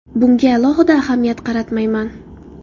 Bunga alohida ahamiyat qaratmayman.